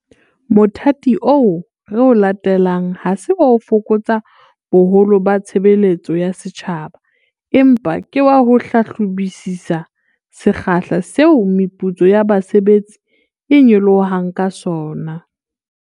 Mothati oo re o latelang ha se wa ho fokotsa boholo ba tshebeletso ya setjhaba, empa ke wa ho hlahlobisisa sekgahla seo meputso ya basebetsi e nyolohang ka sona.